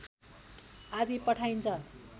आदि पठाइन्छ